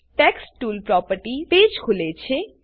text tools property page ખુલે છે